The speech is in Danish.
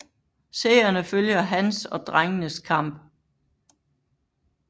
Seerne følger hans og drengenes kamp